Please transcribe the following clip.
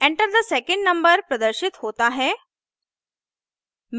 enter the second number प्रदर्शित होता है